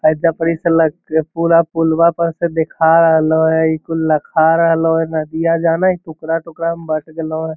ओजा पड़ी से लग के पूरा पुलवा पर से दख रहल हय इ कुल रखा रहलो हे नदिया जाने हय टुकड़ा टुकड़ा में बट गेलो हे |